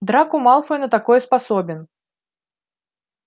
драко малфой на такое способен